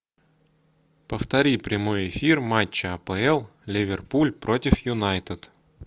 повтори прямой эфир матча апл ливерпуль против юнайтед